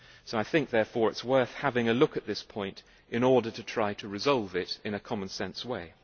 I think, therefore, it is worth having a look at this point in order to try to resolve it in a common sense way.